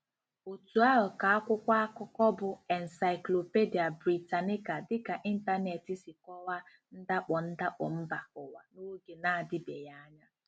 Otú ahụ ka akwụkwọ akụkọ bụ́ Encyclopædia Britannica dịka ịntanetị si kọwaa ndakpọ ndakpọ mba ụwa n'oge na-adịbeghị anya.